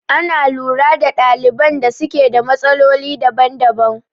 Ana lura da ɗaliban da suke da matsaloli daban daban